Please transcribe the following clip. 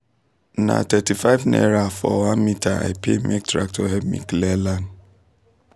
na thirty-five naira for one metre i pay make tractor help me clear land